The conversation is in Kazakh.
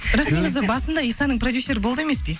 бірақ негізі басында исаның проюсері болды емес пе